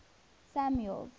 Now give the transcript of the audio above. samuel's